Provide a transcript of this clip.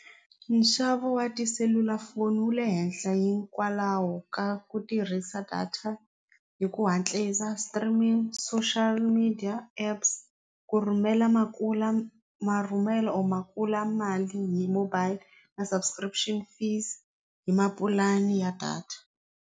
Nxavo wa tiselulafoni wu le henhla hikwalaho ka ku tirhisa data hi ku hatlisa streaming social media apps ku rhumela makula marhumelo or mali hi mobile na subscription fees hi mapulani ya data.